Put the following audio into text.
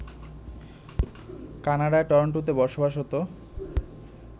কানাডার টরন্টোতে বসবাসরত